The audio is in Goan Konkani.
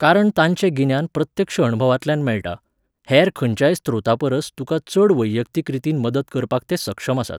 कारण तांचें गिन्यान प्रत्यक्ष अणभवांतल्यान मेळटा, हेर खंयच्याय स्रोतापरस तुका चड वैयक्तीक रितीन मदत करपाक ते सक्षम आसात.